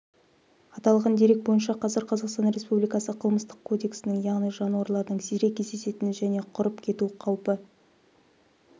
аталған дерек бойынша қазір қазақстан республикасы қылмыстық кодексінің яғни жануарлардың сирек кездесетін және құрып кету қаупі